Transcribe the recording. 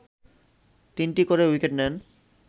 তিনটি করে উইকেট নেন